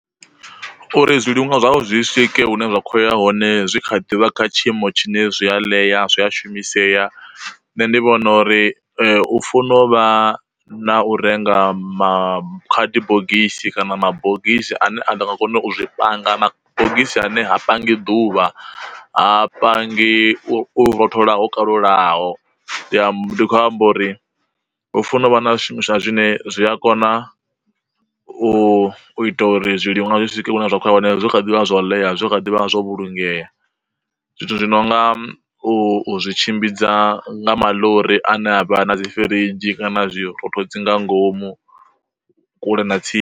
Uri zwiliṅwa zwavho zwi swike hune vha khoya hone zwi kha ḓuvha kha tshiimo tshine zwi a ḽeya zwi a shumisea, nṋe ndi vhona uri u funo uvha na u renga makhadibogisi kana mabogisi ane a nga kona u zwi panga mabogisi ane ha pangi ḓuvha ha pangi u rothola ho kalulaho. Ndi khou amba uri hu funa u vha na zwi shumiswa zwine zwi a kona u u ita uri zwiliṅwa nga swike hune zwa khou ya hone zwo kha ḓivha nga zwa u ḽea zwi kha ḓivha zwo vhulungea. Zwithu zwi no nga u zwi tshimbidza nga maḽori ane avha na dzi firidzhi kana zwirothodzi nga ngomu kule na tsini.